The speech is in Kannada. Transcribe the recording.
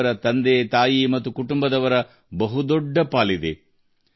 ಅವರ ಯಶಸ್ಸಿನಲ್ಲಿ ಅವರ ಕುಟುಂಬ ಮತ್ತು ಪೋಷಕರು ಸಹ ದೊಡ್ಡ ಪಾತ್ರವನ್ನು ವಹಿಸಿದ್ದಾರೆ